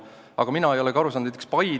Aga mina ei ole ka mõnest asjast aru saanud.